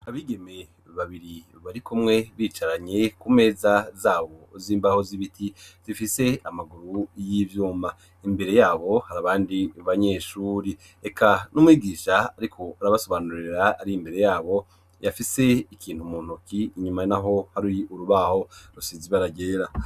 Abigeme babiri bari kumwe bicaranye ku meza zabo z'imbaho z'ibiti zifise amaguru y'ivyuma, imbere yabo hari abandi banyeshuri, eka n'umwigisha ariko arabasobanurira ari imbere yabo afise ikintu muntoki, inyuma naho hari urubaho rusize ibara ryera.